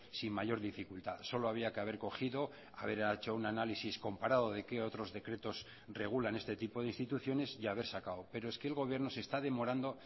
sin mayor dificultad solo había que haber cogido haber hecho un análisis comparado de qué otros decretos regulan este tipo de instituciones y haber sacado pero es que el gobierno se está demorando